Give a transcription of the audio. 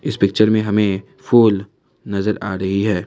इस पिक्चर में हमें फूल नजर आ रही है।